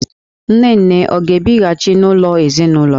Nne nne ọ ga-abịghachị n'ụlọ ezinụlọ?